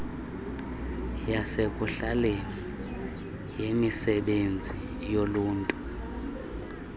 yasekuhlaleni yemisebenzi yoluntu